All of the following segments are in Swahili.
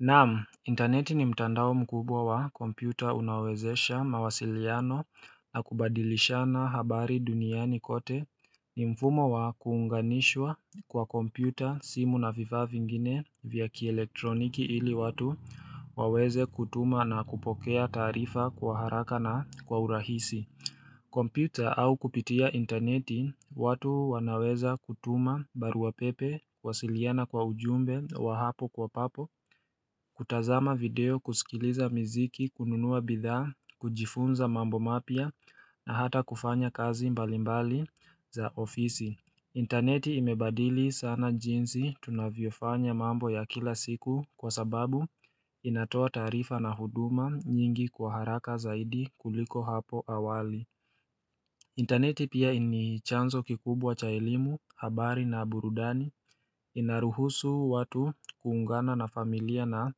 Naamu interneti ni mtandao mkubwa wa kompyuta unaowezesha mawasiliano na kubadilishana habari duniani kote ni mfumo wa kuunganishwa kwa kompyuta simu na vifaa vingine vya kielektroniki ili watu waweze kutuma na kupokea taarifa kwa haraka na kwa urahisi kompyuta au kupitia interneti watu wanaweza kutuma baruapepe kuwasiliana kwa ujumbe wa hapo kwa papo kutazama video kusikiliza mziki kununuwa bidhaa, kujifunza mambo mapya na hata kufanya kazi mbalimbali za ofisi interneti imebadili sana jinsi tunavyofanya mambo ya kila siku kwa sababu inatoa tarifa na huduma nyingi kwa haraka zaidi kuliko hapo awali interneti pia ini chanzo kikubwa cha elimu, habari na burudani, inaruhusu watu kuungana na familia na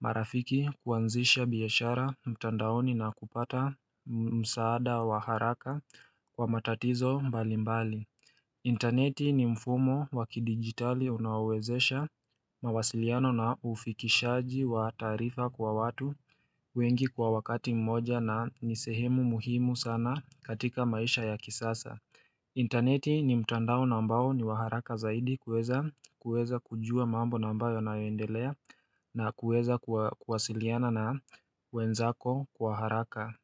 marafiki kuanzisha biashara mtandaoni na kupata msaada wa haraka kwa matatizo mbali mbali. Interneti ni mfumo wa kidigitali unaowezesha mawasiliano na ufikishaji wa taarifa kwa watu wengi kwa wakati mmoja na ni sehemu muhimu sana katika maisha ya kisasa interneti ni mtandao na ambao ni wa haraka zaidi kuweza kujua mambo na ambayo yanayoendelea na kuweza kuwasiliana na wenzako kwa haraka.